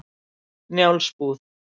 Njálsbúð